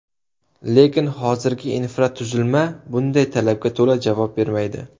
Lekin hozirgi infratuzilma bunday talabga to‘la javob bermaydi.